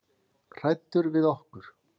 Hræddur við okkur?